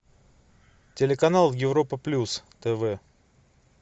телеканал европа плюс тв